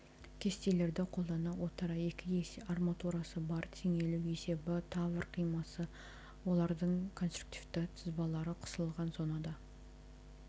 кестелерді қолдана отыра екі есе арматурасы бар теңелу есебі тавр қимасы олардың конструктивті сызбалары қысылған зонада